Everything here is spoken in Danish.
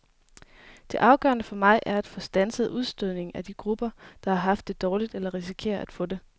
Det afgørende for mig er at få standset udstødningen af de grupper, der har haft det dårligt eller risikerer at få det.